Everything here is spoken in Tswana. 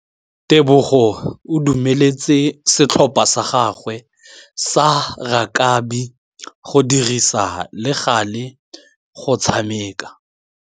Tebogô o dumeletse setlhopha sa gagwe sa rakabi go dirisa le galê go tshameka.